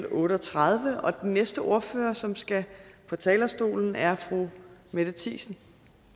otte og tredive og den næste ordfører som skal på talerstolen er fru mette thiesen